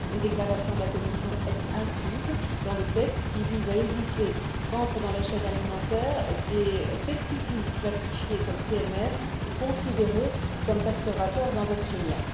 Une déclaration de la Commission est incluse dans le texte qui vise à éviter qu'entrent dans la chaîne alimentaire des pesticides classifiés comme CMR ou considérés comme perturbateurs endocriniens.